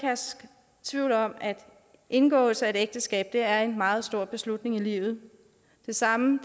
tvivl om at indgåelse af et ægteskab er en meget stor beslutning i livet det samme